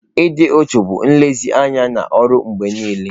Ịdị uchu bụ nlezianya na ọrụ mgbe niile.